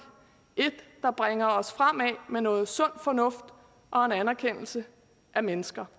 et der bringer os fremad med noget sund fornuft og en anerkendelse af mennesker